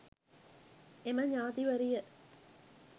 එම ඥාතිවරිය